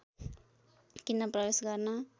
किन प्रवेश गर्न